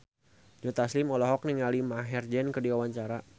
Joe Taslim olohok ningali Maher Zein keur diwawancara